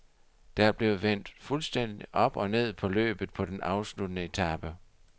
Der blev vendt fuldstændig op og ned på løbet på den afsluttende etape.